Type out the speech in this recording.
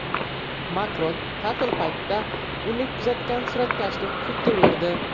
Makron ta’til paytida uni kuzatgan suratkashni sudga berdi.